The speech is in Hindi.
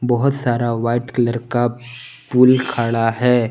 बहुत सारा व्हाइट कलर का पूल खड़ा है।